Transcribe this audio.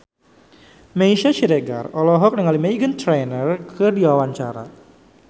Meisya Siregar olohok ningali Meghan Trainor keur diwawancara